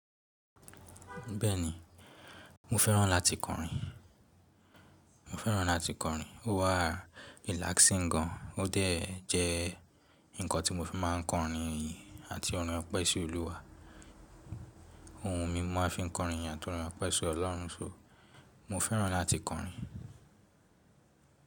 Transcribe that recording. Bẹ́ẹ̀ni, mo fẹ́ràn láti kọrin. Mo fẹ́ràn láti kọrin. Ó wa relaxing gan. Ó dẹ̀ jẹ́ nǹkan tí mo fi máa ń kọrin iyin àti orin opẹ́ si olúwa. Ohùn mi mo máa fi ń kọrin yin atorín ope si Ọlọ́run ṣo. Mo fẹ́ràn láti kọrin.